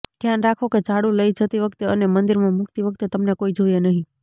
ધ્યાન રાખો કે ઝાડુ લઈ જતી વખતે અને મંદિરમાં મુકતી વખતે તમને કોઈ જુએ નહી